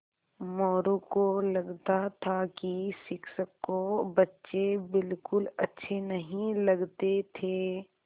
मोरू को लगता था कि शिक्षक को बच्चे बिलकुल अच्छे नहीं लगते थे